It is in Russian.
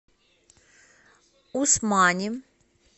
усмани